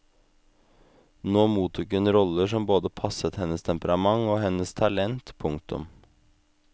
Nå mottok hun roller som både passet hennes temperament og hennes talent. punktum